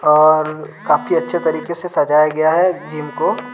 और काफी अच्छे तरीके से सजाया गया है जिम को।